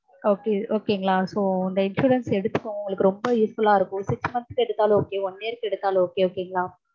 so இந்த insurance எடுத்துக்கோங்க. உங்களுக்கு ரொம்ப usefull லா இருக்கும். six month க்கு எடுத்தாலும் okay one year க்கு எடுத்தாலும் okay okay ங்களா?